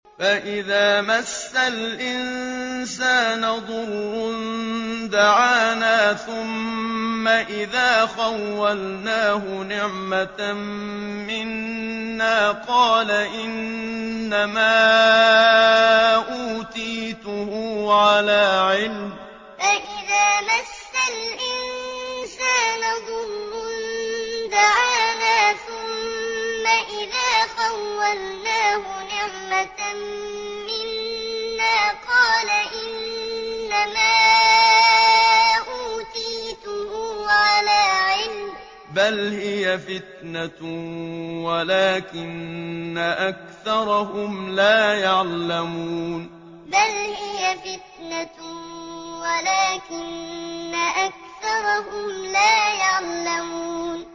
فَإِذَا مَسَّ الْإِنسَانَ ضُرٌّ دَعَانَا ثُمَّ إِذَا خَوَّلْنَاهُ نِعْمَةً مِّنَّا قَالَ إِنَّمَا أُوتِيتُهُ عَلَىٰ عِلْمٍ ۚ بَلْ هِيَ فِتْنَةٌ وَلَٰكِنَّ أَكْثَرَهُمْ لَا يَعْلَمُونَ فَإِذَا مَسَّ الْإِنسَانَ ضُرٌّ دَعَانَا ثُمَّ إِذَا خَوَّلْنَاهُ نِعْمَةً مِّنَّا قَالَ إِنَّمَا أُوتِيتُهُ عَلَىٰ عِلْمٍ ۚ بَلْ هِيَ فِتْنَةٌ وَلَٰكِنَّ أَكْثَرَهُمْ لَا يَعْلَمُونَ